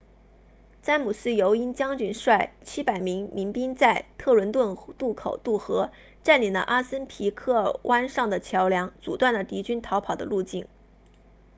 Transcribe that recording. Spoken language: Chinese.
詹姆斯尤因将军率700名民兵在特伦顿渡口渡河占领了阿森皮克湾上的桥梁阻断了敌军逃跑的路径